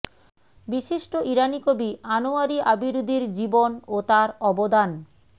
বিশিষ্ট ইরানি কবি আনোয়ারি আবিরুদির জীবন ও তার অবদান